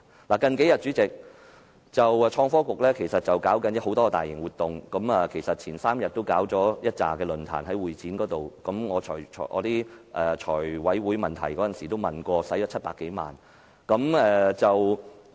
代理主席，創新及科技局這幾天正在舉行多項大型活動，前3天在會展舉行了多個論壇，我在財務委員會提問時問及所花費的700多萬元。